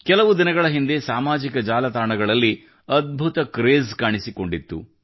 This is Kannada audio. ಕೆಲವು ದಿನಗಳ ಹಿಂದೆ ಸಾಮಾಜಿಕ ಜಾಲತಾಣಗಳಲ್ಲಿ ಅದ್ಭುತ ಕ್ರೇಜ್ ಕಾಣಿಸಿಕೊಂಡಿತ್ತು